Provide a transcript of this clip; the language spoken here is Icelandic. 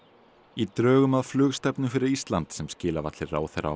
í drögum að flugstefnu fyrir Ísland sem skilað var til ráðherra á